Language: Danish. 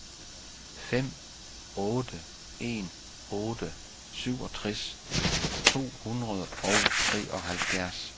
fem otte en otte syvogtres to hundrede og treoghalvfjerds